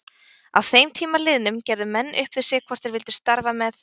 Að þeim tíma liðnum gerðu menn upp við sig hvort þeir vildu starfa með